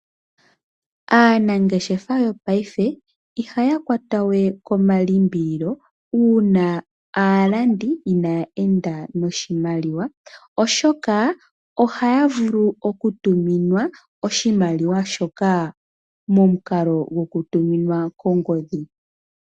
Aanangeshefa yopaife ihayakwata we komalimbililo uuna aalandi inaya enda noshimaliwa, oshoka ohayavulu okutuminwa oshimaliwa shoka momukalo gokutuminwa kongodhi.